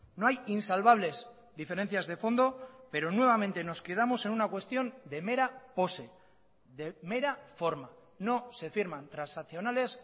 no hay insalvables diferencias de fondo pero nuevamente nos quedamos en una cuestión de mera pose de mera forma no se firman transaccionales